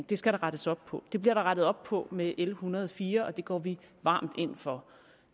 det skal der rettes op på det bliver der rettet op på med l en hundrede og fire og det går vi varmt ind for